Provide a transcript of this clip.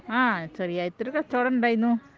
ആഹ് ചെറിയതായിട്ട് ഒരു കച്ചവടം ഉണ്ടായിരുന്നു